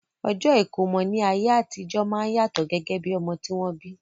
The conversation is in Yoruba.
Ọjọ́ ìkómọ ní ayé àtijọ́ máa ń yàtọ̀ gẹ́gẹ́ bí ọmọ tí wọ́n bí